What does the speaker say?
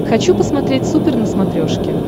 хочу посмотреть супер на смотрешке